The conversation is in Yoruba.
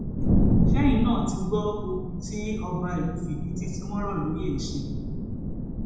ṣẹyìn náà ti gbọ ohun tí ọba ìlú fídítì tí wọn rò lóye ṣe